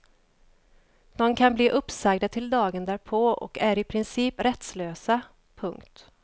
De kan bli uppsagda till dagen därpå och är i princip rättslösa. punkt